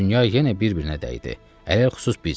Dünya yenə bir-birinə dəydi, ələlxüsus biz.